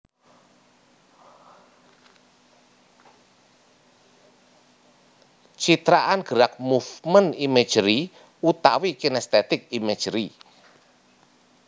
Citraan gerak movement imagery utawi kinaesthetic imagery